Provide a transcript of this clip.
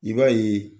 I b'a ye